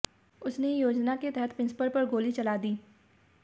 उसने योजना के तहत प्रिंसिपल पर गोली चला दी